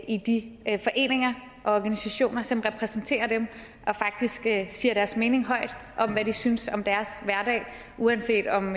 i de foreninger og organisationer som repræsenterer dem og faktisk siger deres mening højt om hvad de synes om deres hverdag uanset om